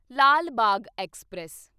Lal Bagh express